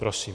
Prosím.